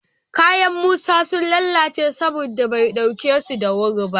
Kayan Musa sun lalace saboda bai ɗauke su da wuri ba